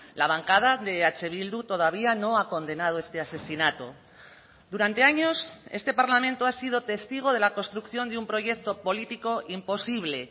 la bancada de eh bildu todavía no ha condenado este asesinato durante años este parlamento ha sido testigo de la construcción de un proyecto político imposible